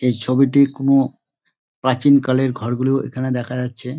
এই ছবিটি কোনো প্রাচীন কালের ঘরগুলো এখানে দেখা যাচ্ছে |